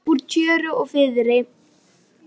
Velta honum upp úr tjöru og fiðri!